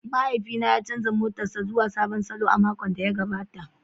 Mahaifina ya canza motarsa ​​zuwa sabon salo a makon da ya gabata.